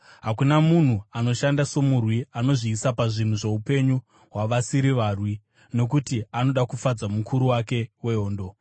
Hakuna munhu anoshanda somurwi anozviisa pazvinhu zvoupenyu hwavasiri varwi, nokuti anoda kufadza mukuru wake wehondo.